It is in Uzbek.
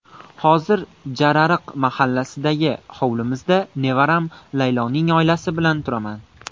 Hozir Jarariq mahallasidagi hovlimizda nevaram Layloning oilasi bilan turaman.